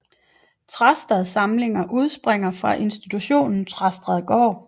Trastad Samlinger udspringer fra institutionen Trastad Gård